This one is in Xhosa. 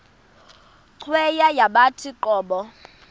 cweya yawathi qobo